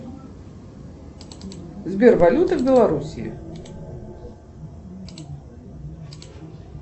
сбер валюта в белорусии